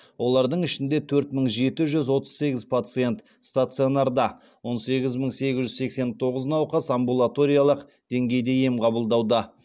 олардың ішінде төрт мың жеті жүз отыз сегіз пациент стационарда он сегіз мың сегіз жүз сексен тоғыз науқас амбулаториялық деңгейде ем қабылдауда